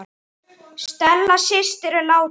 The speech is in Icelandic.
Stella systir er látin.